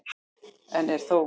Enn er þó